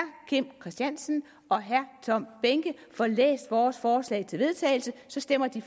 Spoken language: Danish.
kim christiansen og herre tom behnke får læst vores forslag til vedtagelse stemmer de